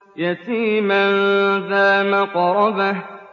يَتِيمًا ذَا مَقْرَبَةٍ